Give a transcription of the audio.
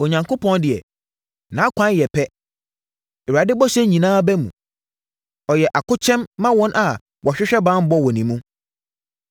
“Onyankopɔn deɛ, nʼakwan yɛ pɛ; Awurade bɔhyɛ nyinaa ba mu. Ɔyɛ akokyɛm ma wɔn a wɔhwehwɛ banbɔ wɔ ne mu.